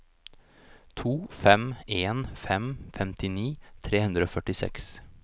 to fem en fem femtini tre hundre og førtiseks